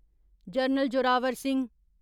general Zorawar Singh